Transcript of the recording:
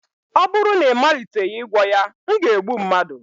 ọ bụrụ na ị maliteghị ịgwọ ya, m ga-egbu mmadụ